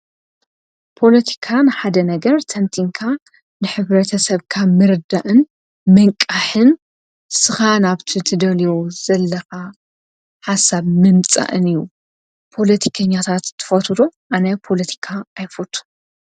ፖለቲካ ንሓደ ነገር ቲንቲንካ ንሕበረተሰብ ካብ ምርዳእን ምንቃሕን ንስኻ ናብቲ ትደልዮ ዘለካ ሓሳብ ምምፃእን እዩ፡፡ ፖለቲከኛታት ትፈትዉ ዶ? ኣነ ፖለቲካ ኣይፈትዉን፡፡